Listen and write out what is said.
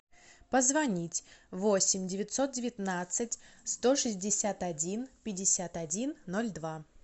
позвонить восемь девятьсот девятнадцать сто шестьдесят один пятьдесят один ноль два